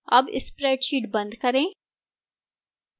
अब spreadsheet बंद करें